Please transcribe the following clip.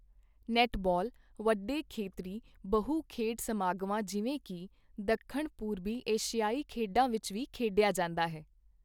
Netball ਵੱਡੇ ਖੇਤਰੀ ਬਹੁ ਖੇਡ ਸਮਾਗਮਾਂ ਜਿਵੇਂ ਕਿ ਦੱਖਣ ਪੂਰਬੀ ਏਸ਼ੀਆਈ ਖੇਡਾਂ ਵਿੱਚ ਵੀ ਖੇਡਿਆ ਜਾਂਦਾ ਹੈ।